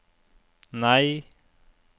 nei